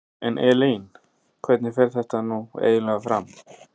En Elín hvernig fer þetta nú eiginlega fram?